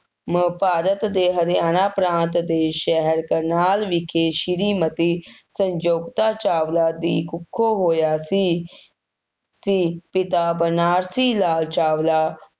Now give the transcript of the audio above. ਅਮ ਭਾਰਤ ਦੇ ਹਰਿਆਣਾ ਪ੍ਰਾਂਤ ਦੇ ਸ਼ਹਿਰ ਕਰਨਾਲ ਵਿਖੇ, ਸ੍ਰੀ ਮਤੀ ਸੰਜਯੋਤਾ ਚਾਵਲਾ ਦੀ ਕੁੱਖੋਂ ਹੋਇਆ ਸੀ, ਸੀ, ਪਿਤਾ ਬਨਾਰਸੀ ਲਾਲ ਚਾਵਲਾ